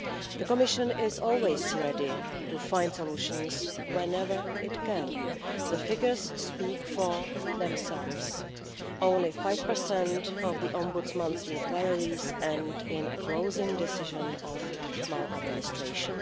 The Commission is always ready to find solutions whenever it can. The figures speak for themselves. Only 5 of the Ombudsman's inquiries end in a closing decision of maladministration.